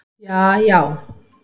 jaajá